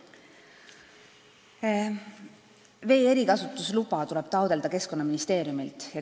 Vee erikasutusluba tuleb taotleda Keskkonnaministeeriumilt.